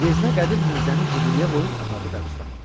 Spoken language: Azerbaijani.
Yeznə Qədir Mirzəni Jiquliyə qoyub apardı qəbirstanlığa.